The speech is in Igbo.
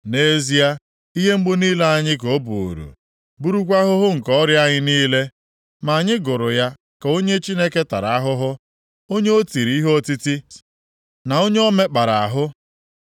Nʼezie, ihe mgbu niile anyị ka o buuru, burukwa ahụhụ nke ọrịa anyị niile, ma anyị gụrụ ya ka onye Chineke tara ahụhụ, onye o tiri ihe otiti, na onye o mekpara ahụ.